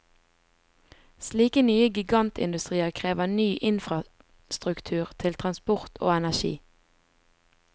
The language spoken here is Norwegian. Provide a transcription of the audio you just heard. Slike nye gigantindustrier krever ny infrastruktur til transport og energi.